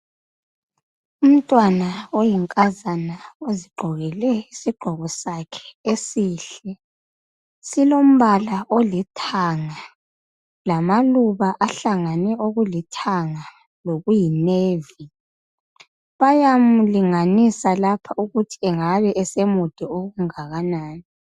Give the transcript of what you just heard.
Umntwana oyinkazana ozigqokele isigqoko sakhe esihle silombala olithanga lamaluba ahlangane okulithanga lokuyi navy bayamulinganisa lapha ukuthi angabe esemude okungakanani.